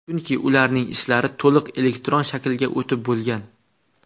Chunki ularning ishlari to‘liq elektron shaklga o‘tib bo‘lgan.